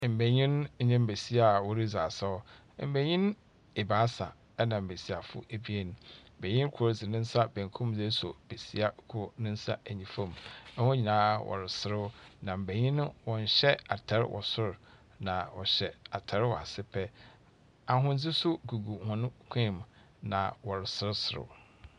Mbenyin nye mbesia a woridzi asaw. Mbeyin ebaasa, na mbesiafo ebien. Benyin kor dze ne nsa benkum rosɔ beisa kor ne nsa nyifa mu. Hɔn nyinaa wɔreserew, na mbenyin no wɔnhyɛ atar wɔ sor. Na wɔhyɛ atar wɔ ase pɛ. Ahodze nso gugu hɔn kɔn mu, na wɔresereserew.